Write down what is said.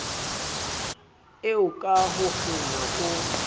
eo ka ho kgena o